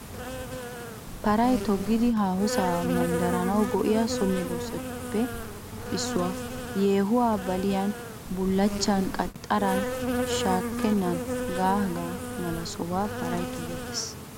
Paray toggidi haahosaa manddaranawu go'iya so medoosatu giddoppe issuwaa . Yeehuwaa baliyan, bullachchan, qaxxaran, shankkan hegaanne hegaa mala sohotun paray togettees.